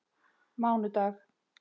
mánudag